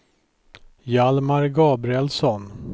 Hjalmar Gabrielsson